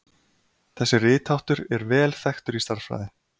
Þessi ritháttur er vel þekktur í stærðfræði.